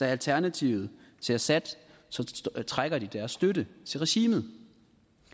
alternativet til assad så trækker de deres støtte til regimet